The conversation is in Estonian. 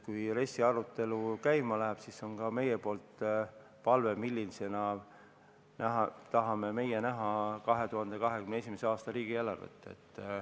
Kui RES-i arutelu käima läheb, siis on meil palve, millisena tahame meie näha 2021. aasta riigieelarvet.